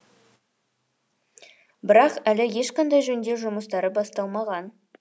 бірақ әлі ешқандай жөндеу жұмыстары басталмаған